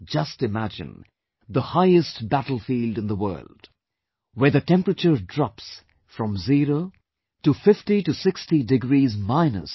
Just imagine the highest battlefield in the world, where the temperature drops from zero to 5060 degrees minus